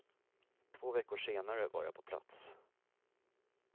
Två veckor senare var jag på plats.